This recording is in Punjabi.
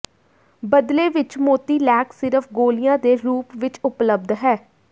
ਬਦਲੇ ਵਿਚ ਮੋਤੀਲੈਕ ਸਿਰਫ ਗੋਲੀਆਂ ਦੇ ਰੂਪ ਵਿਚ ਉਪਲਬਧ ਹੈ